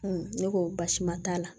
ne ko baasi ma t'a la